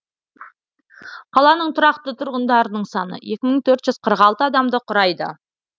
қаланың тұрақты тұрғындарының саны екі мың төрт жүз қырық алты адамды құрайды